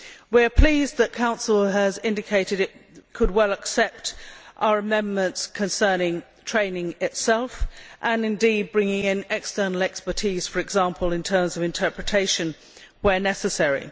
We are pleased that the Council has indicated it could well accept our amendments concerning training itself and, indeed, bringing in external expertise, for example in terms of interpretation, where necessary.